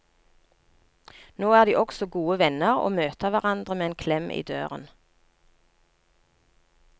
Nå er de også gode venner og møter hverandre med en klem i døren.